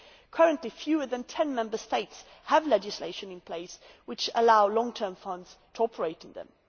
Currently fewer than ten Member States have legislation in place which allows long term funds to operate in them.